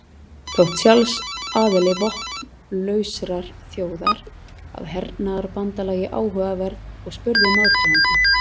Þótti Charles aðild vopnlausrar þjóðar að hernaðarbandalagi áhugaverð og spurði um aðdragandann.